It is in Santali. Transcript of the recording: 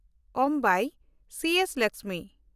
ᱚᱢᱵᱟᱭ (ᱥᱤ.ᱮᱥ.ᱞᱟᱠᱥᱢᱤ)